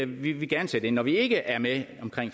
vi vil gerne sætte ind når vi ikke er med